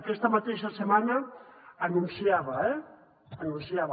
aquesta mateixa setmana anunciava eh anunciava